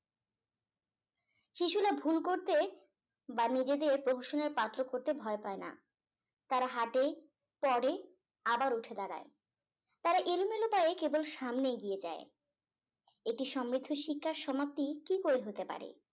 নিজেদের প্রহসনের পাত্র করতে ভয় পায় না তারা হাটে পরে আবার উঠে দাঁড়ায় তারা এলোমেলো পায়ে কেবল সামনে এগিয়ে যায় এটি সমৃদ্ধ শিক্ষার সমাপ্তি কি করে হতে পারে